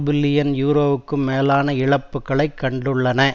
billion யூரோக்கும் மேலான இழப்புக்களைக் கண்டுள்ளன